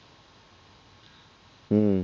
হম